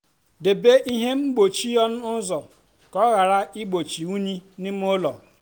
debe ihe mgbochi ọnụ ụzọ ka ọ ghara igbochi unyi n'ime ụlọ.